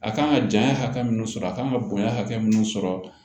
A kan ka janya hakɛ min sɔrɔ a kan ka bonya hakɛ mun sɔrɔ